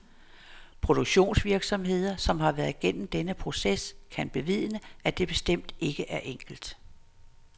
Produktionsvirksomheder, som har været gennem denne proces, kan bevidne, at det bestemt ikke er enkelt.